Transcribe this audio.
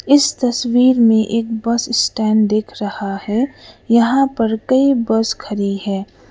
इस तस्वीर में एक बस स्टैंड दिख रहा है यहां पर कई बस खड़ी है।